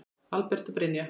Albert og Brynja.